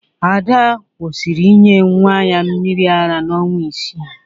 Ada kwụsịrị inye nwa ya mmiri ara n'ọnwa isii